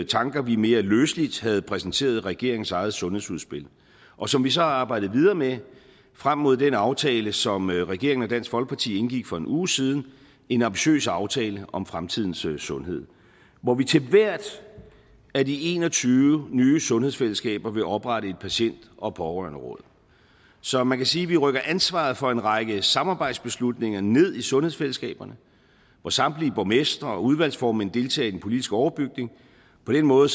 tanker vi mere løseligt havde præsenteret i regeringens eget sundhedsudspil og som vi så har arbejdet videre med frem mod den aftale som regeringen og dansk folkeparti indgik for en uge siden en ambitiøs aftale om fremtidens sundhed hvor vi til hvert af de en og tyve nye sundhedsfællesskaber vil oprette et patient og pårørenderåd så man kan sige at vi rykker ansvaret for en række samarbejdsbeslutninger ned i sundhedsfællesskaberne hvor samtlige borgmestre og udvalgsformænd deltager i den politiske overbygning på den måde